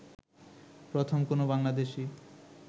প্রথম কোনও বাংলাদেশী